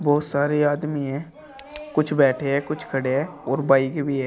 बहुत सारे आदमी है कुछ बैठे हैं कुछ खड़े हैं और बाइक भी है।